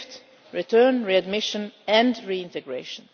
and five return, readmission and reintegration.